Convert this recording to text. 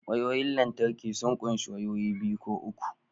Wayoyin lantarki sun ƙunshi wayoyi biyu ko uku